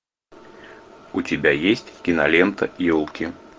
у тебя есть кинолента елки